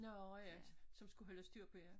Nårh ja som skulle holde styr på jer